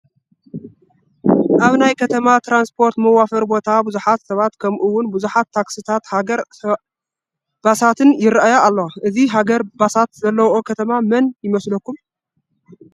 ኣብ ናይ ከተማ ትራንስፖርት መዋፈሪ ቦታ ብዙሓት ሰባት ከምኡውን ብዙሓት ታክስታትን ሃይገር ባሳትን ይርአያ ኣለዋ፡፡ እዚ ሃይገር ባሳት ዘለውኦ ከተማ መን ይመስለኩም